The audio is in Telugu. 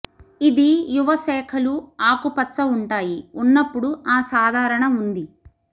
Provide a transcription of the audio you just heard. ఇది యువ శాఖలు ఆకుపచ్చ ఉంటాయి ఉన్నప్పుడు ఆ సాధారణ ఉంది